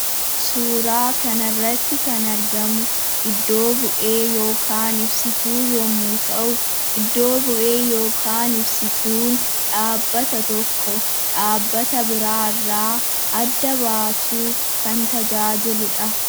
Suuraa kanarratti kan argamu iddo-bu'ee yookaan ibsituu yommuu ta'u iddo-bu'ee yookaan ibsituun dhaabbata tokko dhaabbata biraa irraa adda baasuuf kan tajaajiluu dha.